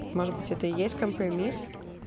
может быть это и есть компромисс